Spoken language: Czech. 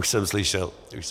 Už jsem slyšel leccos.